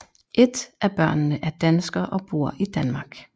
Et af børnene er dansker og bor i Danmark